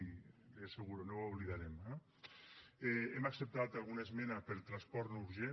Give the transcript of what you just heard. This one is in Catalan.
i li ho asseguro no ho oblidarem eh hem acceptat alguna esmena per transport no urgent